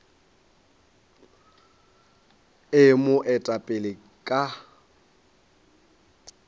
e mo eta pele ka